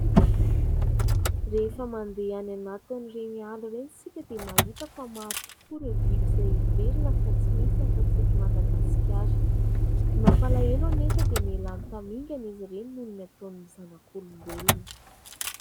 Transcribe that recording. Rehefa mandeha any anatin' ireny ala ireny isika dia mahita fa maro tokoa ireo biby izay heverina fa tsy misy afa tsy eto madagasikara. Ny mampalahelo anefa dia mialany tamingan'izy ireny noho ny ataon'ny zanak'olombelona.